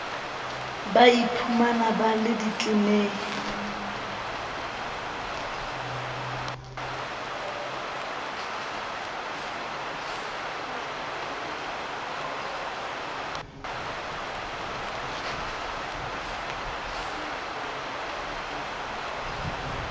ba iphumang ba le ditleneng